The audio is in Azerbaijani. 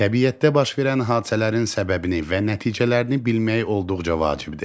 Təbiətdə baş verən hadisələrin səbəbini və nəticələrini bilmək olduqca vacibdir.